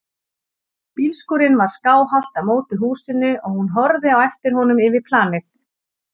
Bílskúrinn var skáhallt á móti húsinu og hún horfði á eftir honum yfir planið.